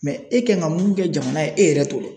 e kan ka mun kɛ jamana ye e yɛrɛ t'o dɔn.